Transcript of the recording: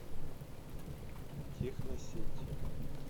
техносеть